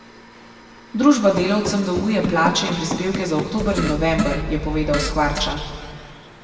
Družba delavcem dolguje plače in prispevke za oktober in november, je povedal Skvarča.